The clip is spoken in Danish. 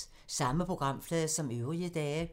Samme programflade som øvrige dage